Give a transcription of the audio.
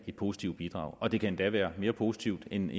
et positivt bidrag og det kan endda være mere positivt end